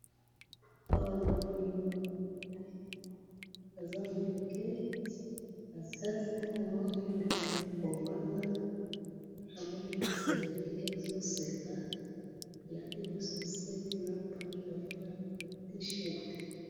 awa namoni mwana muke aza muke naza sur abandi kovanda namoni asepeli azali koseka alati ba chaussette na pantalon na T-shirt oseka avandai namoni azo seka alati